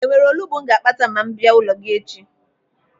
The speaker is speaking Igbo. Enwere olugbu m ga-akpata ma m bịa n'ụlọ gị echi?